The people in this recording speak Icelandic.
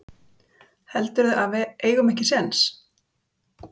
Jóhanna: Heldurðu að við eigum ekki séns?